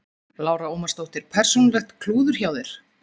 Lára Ómarsdóttir: Persónulegt klúður hjá þér?